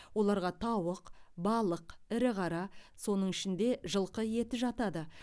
оларға тауық балық ірі қара соның ішінде жылқы еті жатады